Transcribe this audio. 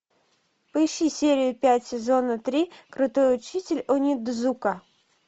поищи серию пять сезона три крутой учитель онидзука